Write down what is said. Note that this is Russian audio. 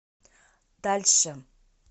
дальше